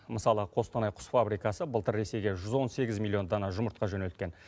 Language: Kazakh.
мысалы қостанай құс фабрикасы былтыр ресейге жүз он сегіз миллион дана жұмыртқа жөнелткен